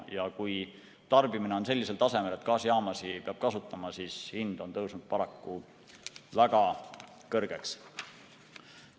Kui tarbimine on sellisel tasemel, et peab gaasijaamasid kasutama, siis hind tõuseb paraku väga kõrgeks.